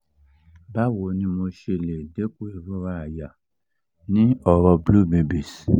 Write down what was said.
bawo ni mo le se deku irora aya ni oro blue babies?